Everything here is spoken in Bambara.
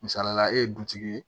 Misalila e ye dutigi ye